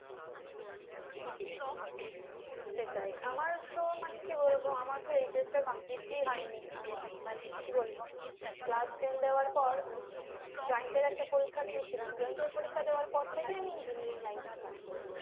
সেটাই আমার তো মানে কি বলবো, আমার HS টা complete হয়নি আমি মানে কি বলবো class ten দেওয়ার পর আমি joint এর একটা পরিক্ষা দিয়ে ছিলাম joint এর পরীক্ষা দেওয়ার পর থেকে আমি engineering line টা start করেছি।